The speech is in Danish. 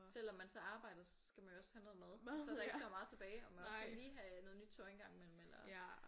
Selvom man så arbejder så skal man jo også have noget mad og så er der ikke så meget tilbage og man også skal lige have noget nyt tøj engang imellem eller